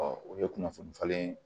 o ye kunnafoni falen